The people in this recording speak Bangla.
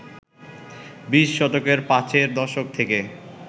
বিশ শতকের পাঁচের দশক থেকে